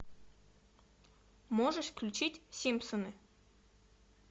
можешь включить симпсоны